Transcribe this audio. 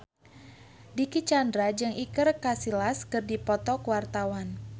Dicky Chandra jeung Iker Casillas keur dipoto ku wartawan